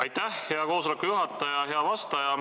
Aitäh, hea koosoleku juhataja!